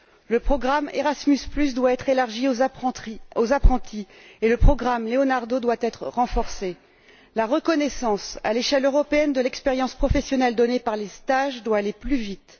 Le programme Erasmus doit être élargi aux apprentis et le programme Leonardo doit être renforcé. La reconnaissance, à l'échelle européenne, de l'expérience professionnelle donnée par les stages doit aller plus vite.